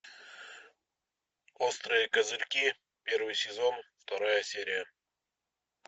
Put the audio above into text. острые козырьки первый сезон вторая серия